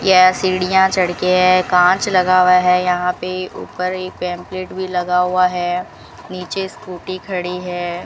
यह सीढ़ियां चढ़के है कांच लगा हुआ है यहां पे ऊपर एक पेंपलेट भी लगा हुआ है नीचे स्कूटी खड़ी है।